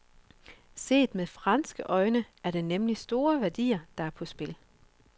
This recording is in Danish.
Set med franske øjne er det nemlig store værdier, der er på spil.